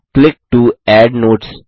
click to add notes